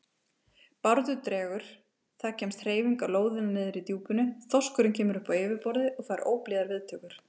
Bárður dregur, það kemst hreyfing á lóðina niðri í djúpinu, þorskurinn kemur upp á yfirborðið og fær óblíðar viðtökur.